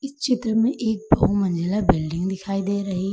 इस चित्र में एक बहु मंजिला बिल्डिंग दिखाई दे रही है।